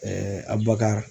Abubakari